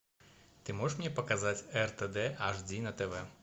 ты можешь мне показать ртд аш ди на тв